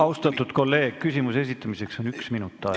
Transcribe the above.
Austatud kolleeg, küsimuse esitamiseks on aega üks minut.